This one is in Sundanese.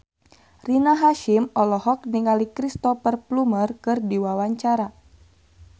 Rina Hasyim olohok ningali Cristhoper Plumer keur diwawancara